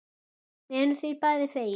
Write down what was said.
Við erum því bæði fegin.